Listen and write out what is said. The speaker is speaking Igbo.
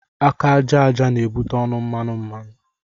Aka aja aja n'ebute ọnụ mmanụ mmanụ